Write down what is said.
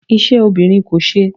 Ise obinrin ko se